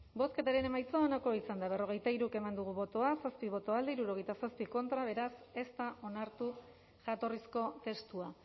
bozketaren emaitza onako izan da hirurogeita hamalau eman dugu bozka zazpi boto alde sesenta y siete contra beraz ez da onartu jatorrizko testua